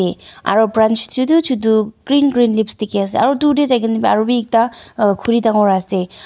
eh aro branch chutu chutu green green leaves dikhi ase aru dur tey jai kena bi arubi ekta khuri dangor ase.